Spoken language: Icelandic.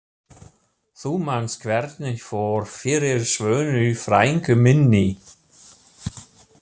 Þú manst hvernig fór fyrir Svönu frænku minni.